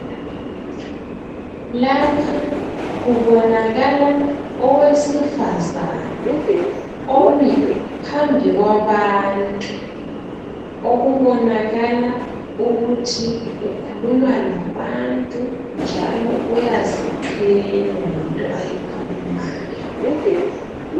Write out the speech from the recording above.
Lapha kubonakala owesifazana omi phambi kwabantu okubonakala ukuthi ukhuluma labantu njalo uyaziqhenya ngento ayikhulumayo.